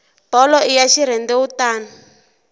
bolo i ya xirhendewutani